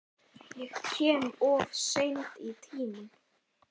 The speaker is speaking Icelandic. Ég kem of seint í tímann.